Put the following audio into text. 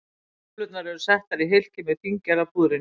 Kúlurnar eru settar í hylkið með fíngerða púðrinu.